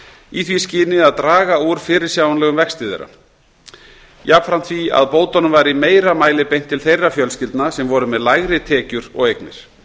í því skyni að draga úr fyrirsjáanlegum vexti þeirra jafnframt því að bótunum var í meira mæli beint til þeirra fjölskyldna sem voru með lægri tekjur og eignir